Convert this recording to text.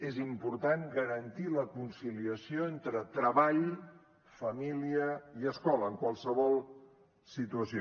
és important garantir la conciliació entre treball família i escola en qualsevol situació